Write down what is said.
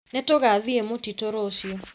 Nĩtũgathiĩ mũtitũ rũciũ